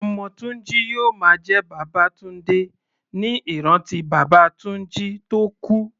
Ọmọ Tunji yóò máa jẹ́ Babatunde ní ìrántí bàbá Tunji tó kú.